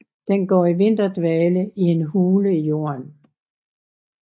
Den går i vinterdvale i en hule i jorden